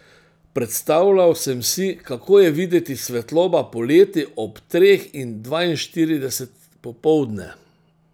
Predstavljal sem si, kako je videti svetloba poleti ob treh in dvainštirideset popoldne.